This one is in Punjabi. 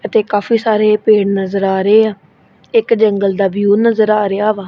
ਅਤੇ ਕਾਫੀ ਸਾਰੇ ਪੇੜ ਨਜ਼ਰ ਆ ਰਹੇ ਆ ਇੱਕ ਜੰਗਲ ਦਾ ਵਿਊ ਨਜ਼ਰ ਆ ਰਿਹਾ ਵਾ।